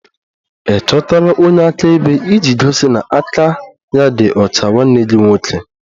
Ị chọtara onye akaebe iji gosi na aka ya dị ọcha nwanne gị nwoke?